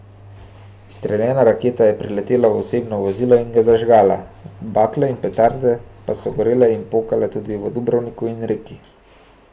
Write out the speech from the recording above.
Izstreljena raketa je priletela v osebno vozilo in ga zažgala, bakle in petarde pa so gorele in pokale tudi v Dubrovniku in Reki.